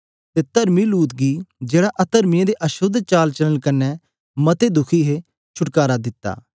अते तरमी लूत गी जेड़ा अतर्मियों दे अशोद्ध चाल चालन कन्ने मते दुखी हे छुटकारा दिता